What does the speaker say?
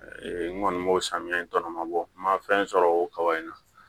N kɔni b'o samiyɛ in tɔnɔ ma bɔ n ma fɛn sɔrɔ o kaba in na